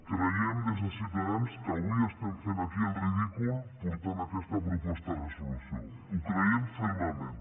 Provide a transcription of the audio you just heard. creiem des de ciutadans que avui estem fent aquí el ridícul portant aquesta proposta de resolució ho creiem fermament